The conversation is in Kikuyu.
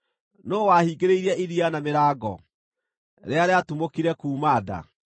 “Nũũ wahingĩrĩirie iria na mĩrango rĩrĩa rĩatumũkire kuuma nda,